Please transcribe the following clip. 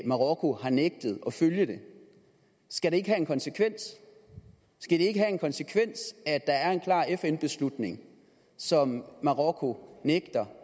marokko har nægtet at følge det skal det ikke have en konsekvens konsekvens at der er en klar fn beslutning som marokko nægter